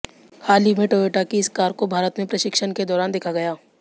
हाल ही में टोयोटा की इस कार को भारत में परीक्षण के दौरान देखा गया